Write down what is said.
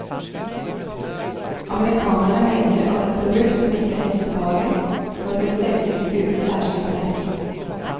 Amerikanerne mener at et produkt som ikke er helsefarlig, skal kunne selges uten særskilt merking.